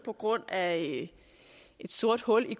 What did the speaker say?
på grund af et sort hul i